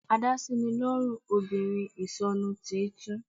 Adásínilọ́rùn obìnrin ìsọnu, tí í tún